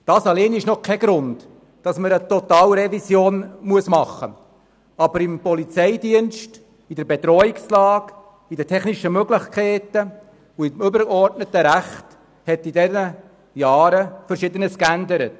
Dies allein ist noch kein Grund für eine Totalrevision, aber im Polizeidienst, in der Bedrohungslage, bei den technischen Möglichkeiten und im übergeordneten Recht hat sich in diesen Jahren Verschiedenes geändert.